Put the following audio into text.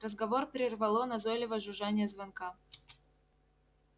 разговор прервало назойливое жужжание звонка